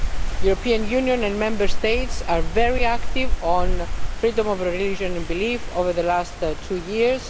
The European Union and Member States have been very active on freedom of religion and belief over the last two years.